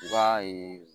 I b'a ye